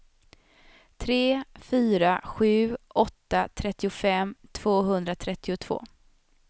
tre fyra sju åtta trettiofem tvåhundratrettiotvå